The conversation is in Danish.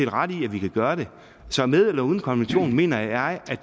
ret i at vi kan gøre det så med eller uden konventionen mener jeg